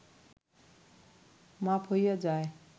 মাপ হইয়া যায়